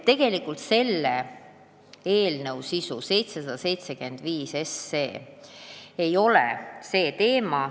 Tegelikult 775 SE sisu ei ole see teema.